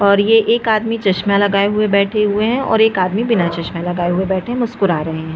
और ये एक आदमी चश्मा लगाए हुए बैठे हुए है और एक आदमी बिना चश्मा लगाये हुए बैठे हुए मुस्कुरा रहे है।